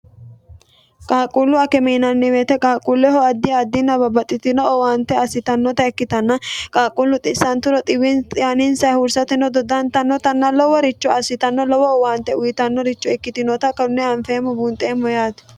qaaqquullu akem yiinanni wote qaaqquulleho addi addita babbaxxitino owaante assitannota ikkitanna qaaqquullu xissanturo xiwaninsa hursateno doddantannotanna loworicho assitanno lowo owaante uyitannoricho ikkitinota kone anfeemmo buunxeemmo yaati